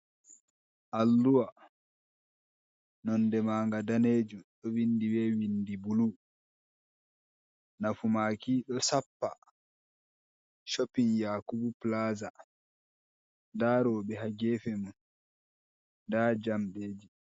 Alluwa nonde manga danejum ɗo vindi be windi bulu. Nafu maki ɗo sappa Shopin Yakubu Plaza. Nda rowɓe ha gefe mun, nda jamɗeji.